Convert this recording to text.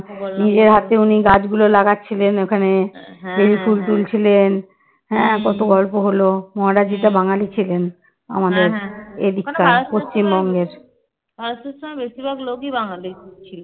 ভারত সেবাশ্রমে বেশিরভাগ লোকই বাঙালি ছিল